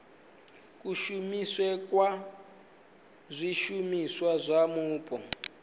kushumisele kwa zwishumiswa zwa mupo